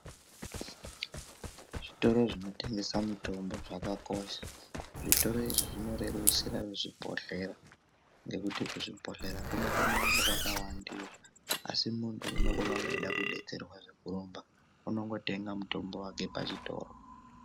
Zvitoro zvinotengesa mitombo zvakakosha. Zvitoro izvi zvinorerusira vezvibhohlera ngekuti kuzvibhohlera kunokona kunge kwakawandiwa. Asi muntu unenge eida kudetserwa zvekurumba, unongotenga mutombo wake pachitoro.